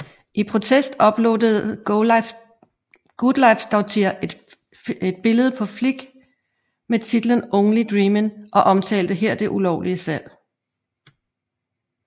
I protest uploadede Guðleifsdóttir et billede på Flickr med titlen Only Dreemin og omtalte her det ulovlige salg